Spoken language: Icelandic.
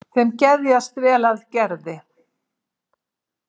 Þeim geðjast vel að Gerði.